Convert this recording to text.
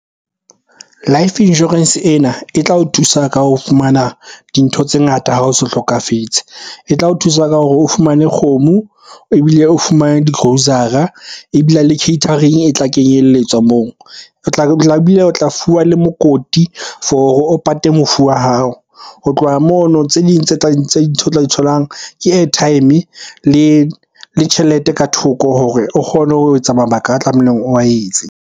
Life insurance ena e tla o thusa ka ho fumana dintho tse ngata ha o so hlokafetse. O tla o thusa ka hore o fumane kgomo, ebile o fumane di-grocer-ra, ebile le catering e tla kenyelletswa moo. O tla fuwa le mokoti for o pate mofu wa hao. Ho tloha mono tse ding tholang ke airtime le tjhelete ka thoko hore o kgone ho etsa mabaka a tlamehileng oa etse.